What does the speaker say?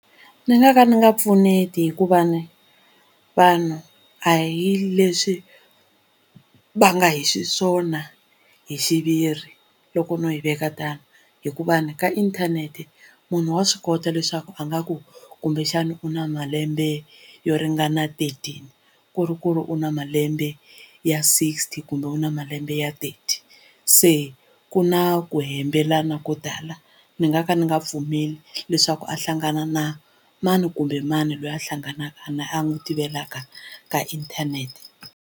Ni nga ka ndzi nga pfuneti hikuva ni vanhu a hi leswi va nga hi xiswona hi xiviri loko no yi veka tano hikuva ni ka inthanete munhu wa swi kota leswaku a nga ku kumbexana u na malembe yo ringana Thirteen ku ri ku ri u na malembe ya Sixty kumbe u na malembe ya Thirty se ku na ku hembelana ko tala ni nga ka ndzi nga pfumeli leswaku a hlangana na mani kumbe mani loyi a hlanganaka na a n'wi tivelaka ka inthanete.